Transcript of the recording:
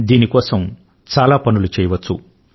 దీని కోసం చాలా పనులు చేయవచ్చు